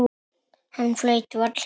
Hann flaut varla.